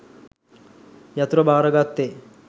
යතුර භාරගත්තෙ?